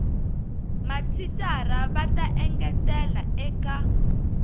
mathicara va ta engetela eka